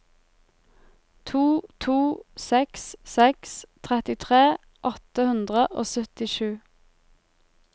to to seks seks trettitre åtte hundre og syttisju